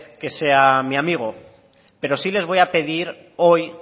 que sea mi amigo pero sí les voy a pedir hoy